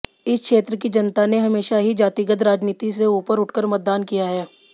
इस क्षेत्र की जनता ने हमेशा ही जातिगत राजनीति से ऊपर उठकर मतदान किया है